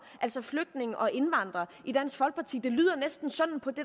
altså flygtninge og indvandrere i dansk folkeparti det lyder næsten sådan på det